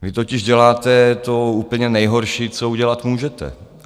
Vy totiž děláte to úplně nejhorší, co udělat můžete.